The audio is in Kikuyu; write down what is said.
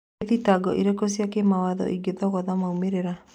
Nĩ thitango irĩkũ cia kĩwatho ingĩthoga moimĩrĩra?